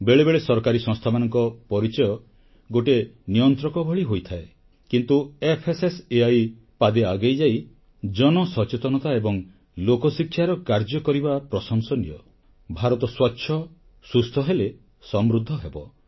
ବେଳେବେଳେ ସରକାରୀ ସଂସ୍ଥାମାନଙ୍କ ପରିଚୟ ଗୋଟିଏ ନିୟନ୍ତ୍ରକ ଭଳି ହୋଇଥାଏ କିନ୍ତୁ ଏଫଏସଏସଇ ପାଦେ ଆଗେଇଯାଇ ଜନସଚେତନତା ଏବଂ ଲୋକଶିକ୍ଷାର କାର୍ଯ୍ୟ କରିବା ପ୍ରଶଂସନୀୟ ଭାରତ ସ୍ୱଚ୍ଛ ସୁସ୍ଥ ହେଲେ ସମୃଦ୍ଧ ହେବ